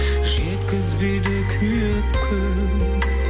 жеткізбейді күйік күн